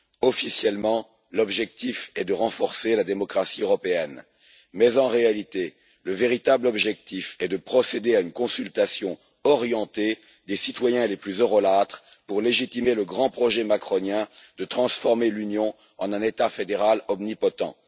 Officiellement, l'objectif est de renforcer la démocratie européenne mais, en réalité, le véritable objectif est de procéder à une consultation orientée des citoyens les plus eurolâtres pour légitimer le grand projet macronien de transformer l'Union en un État fédéral omnipotent.